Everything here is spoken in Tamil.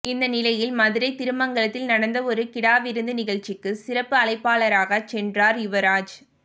இந்த நிலையில் மதுரை திருமங்கலத்தில் நடந்த ஒரு கிடாவிருந்து நிகழ்ச்சிக்கு சிறப்பு அழைப்பாளராக சென்றார் யுவராஜ்